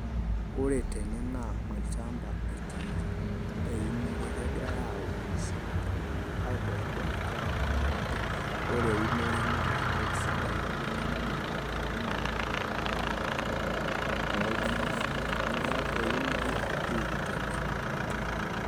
Ore tene naa olchamba etiiki eunore kegirai aunisho iltung'anak aitodl nkera kutitik ajo ore eunore naa entoki sidai ajo ninye naibubg'ita economy oltung'anak pookin neeku eunore etiiki tene.